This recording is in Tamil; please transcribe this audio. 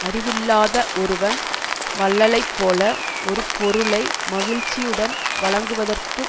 அறிவில்லாத ஒருவன் வள்ளலைப்போல ஒரு பொருளை மகிழ்ச்சியுடன் வழங்குவதற்குக்